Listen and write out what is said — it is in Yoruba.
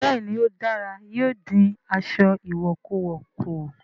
Bẹ́ẹ̀ ni ó dára, yóò dín aṣọ ìwọ̀kuwọ̀ kù